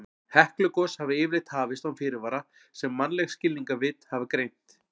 Heklugos hafa yfirleitt hafist án fyrirvara sem mannleg skilningarvit geta greint.